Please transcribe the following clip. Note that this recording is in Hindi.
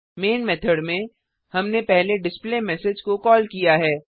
मैन मेथड में हमने पहले डिस्प्लेमेसेज को कॉल किया है